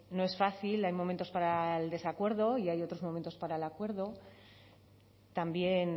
no es fácil hay momentos para el desacuerdo y hay otros momentos para el acuerdo también